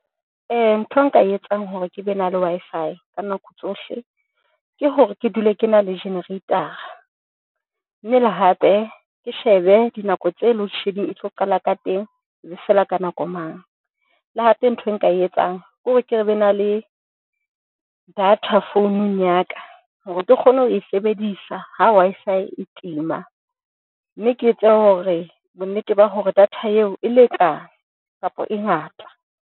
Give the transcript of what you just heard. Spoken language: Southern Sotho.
Ntho e nka e etsang hore ke be na le Wi-Fi ka nako tsohle. Ke hore ke dule, ke na le jenereitara, mme le, hape ke shebe dinako tse load shedding e tlo qala ka teng ebe fela ka nako mang le hape ntho e nka e etsang kore, ke re be na le data founung ya ka hore ke kgone ho e sebedisa ha Wi-Fi e tima mme ke etse hore bonnete ba hore data eo e lekane kapa e ngata.